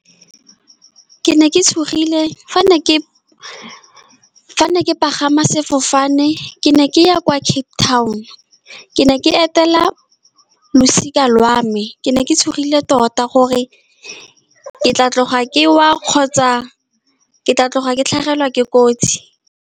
Ke ne ke tshogile fa ne ke, fa ne ke pagama sefofane. Ke ne ke ya kwa Cape Town, ke ne ke etela losika lwa me. Ke ne ke tshogile tota gore ke tla tloga ke wa, kgotsa ke tla tloga ke tlhagelwa ke kotsi.